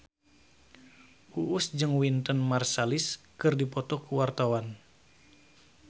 Uus jeung Wynton Marsalis keur dipoto ku wartawan